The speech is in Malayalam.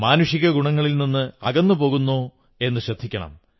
മാനുഷിക ഗുണങ്ങളിൽ നിന്ന് അകന്നു പോകുന്നോ എന്നു ശ്രദ്ധിക്കണം